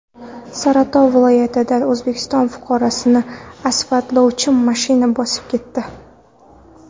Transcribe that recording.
Saratov viloyatida O‘zbekiston fuqarosini asfaltlovchi mashina bosib ketdi.